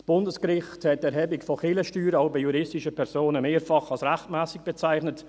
Das Bundesgericht hat die Erhebung von Kirchensteuern auch bei juristischen Personen mehrfach als rechtmässig bezeichnet.